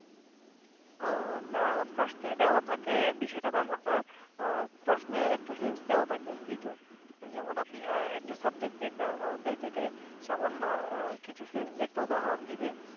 আহ না প্রশ্নে দেওয়া থাকে বিষয়টা তেমন না। আহ প্রশ্নে একটু hints দেওয়া থাকে এইতো যেমন আপনি আহ একটা subject একটা অধ্যায় থেকে সামান্য আহ কিছু hints দিয়ে একটা উদহারণ দিবে